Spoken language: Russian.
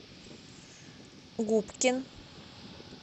губкин